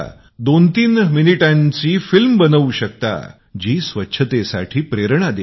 23 मिनिटांची फिल्म बनूव शकता की जी स्वच्छतेसाठी प्रेरणा देईल